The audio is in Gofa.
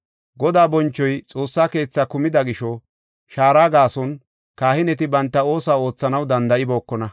Godaa bonchoy Xoossa keethaa kumida gisho, shaara gaason kahineti banta oosuwa oothanaw danda7ibookona.